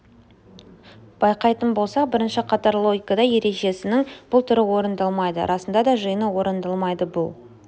байқайтын болсақ бірінші қатарлы логикада ережесінің бұл түрі орындалмайды расында да жиыны орындалмайды бұл